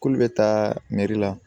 K'olu bɛ taa meri la